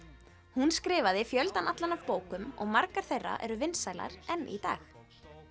hún skrifaði fjöldann allan af bókum og margar þeirra eru vinsælar enn í dag